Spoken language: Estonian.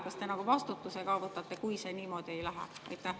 Kas te vastutuse ka võtate, kui see niimoodi ei lähe?